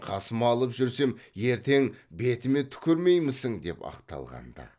қасыма алып жүрсем ертең бетіме түкірмеймісің деп ақталған ды